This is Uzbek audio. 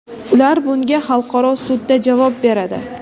Ular bunga xalqaro sudda javob beradi.